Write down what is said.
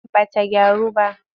Ba ta gyaru ba.